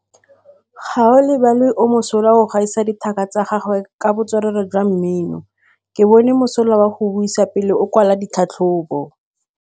Gaolebalwe o mosola go gaisa dithaka tsa gagwe ka botswerere jwa mmino. Ke bone mosola wa go buisa pele o kwala tlhatlhobô.